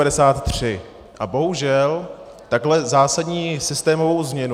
A bohužel, takovou zásadní systémovou změnu...